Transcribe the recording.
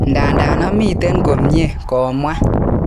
Ndadan amiten ko mie,"komwa.